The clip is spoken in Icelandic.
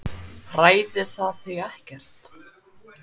Hræðir það þig ekkert?